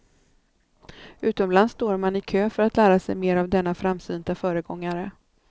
Utomlands står man i kö för att lära sig mer av denna framsynta föregångare.